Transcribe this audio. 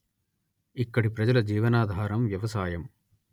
ఇక్కడి ప్రజల జీవనాధారం వ్యవసాయం